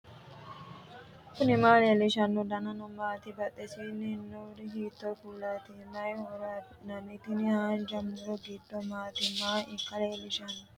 knuni maa leellishanno ? danano maati ? badheenni noori hiitto kuulaati ? mayi horo afirino ? tini haanja muro giddo maati maaa ikka lellishshsannoteika